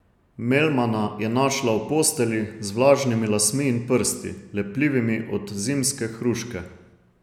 Melmana je našla v postelji, z vlažnimi lasmi in prsti, lepljivimi od zimske hruške.